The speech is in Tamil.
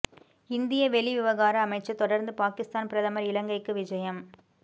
இந்திய வெளிவிவகார அமைச்சர் தொடர்ந்து பாகிஸ்தான் பிரதமர் இலங்கைக்கு விஜயம்